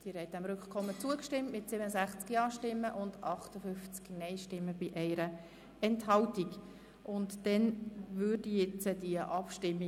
Sie haben dem Rückkommensantrag mit 67 Ja- gegen 58 Nein-Stimmen bei 1 Enthaltung zugestimmt.